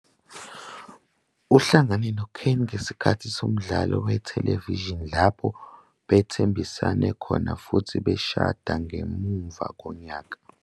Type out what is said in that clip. Uhlangane noKani ngesikhathi somdlalo wethelevishini lapho bethembisana khona futhi bashada ngemuva konyaka.